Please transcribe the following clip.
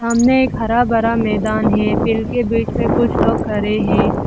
सामने एक हरा भरा मैदान है फील्ड के बीच में कुछ लोग खड़े हैं।